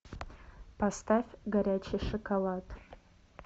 поставь горячий шоколад